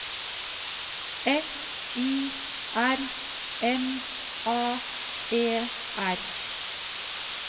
F I R M A E R